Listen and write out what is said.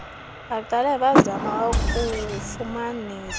baqale bazame ukufumanisa